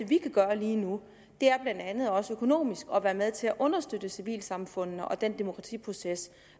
vi kan gøre lige nu blandt andet også er økonomisk at være med til at understøtte civilsamfundene og den demokratiproces